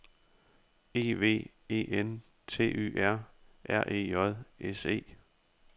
E V E N T Y R R E J S E